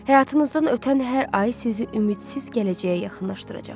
Həyatınızdan ötən hər ay sizi ümidsiz gələcəyə yaxınlaşdıracaq.